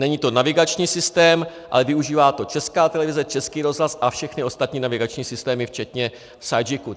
Není to navigační systém, ale využívá to Česká televize, Český rozhlas a všechny ostatní navigační systémy včetně Sygic.